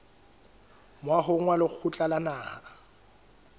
moahong wa lekgotla la naha